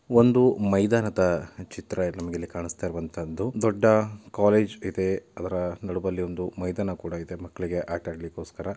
ಒಂದು ಮೈದಾನದ ಚಿತ್ರ ನಮಗೆ ಇಲ್ಲಿ ಕಾಣಸ್ತಾಯಿರೋವಂತಹದ್ದು. ದೊಡ್ಡ ಕಾಲೇಜು ಇದೆ ಅದರ ನಡುವಲ್ಲಿ ಒಂದು ಮೈದಾನ ಕೂಡಾ ಇದೆ ಮಕ್ಕಳಿಗೆ ಆಟ ಆಡಲಿಗೋಸ್ಕರ.